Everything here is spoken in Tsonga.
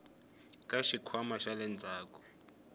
ka xikhwama xa le ndzhaku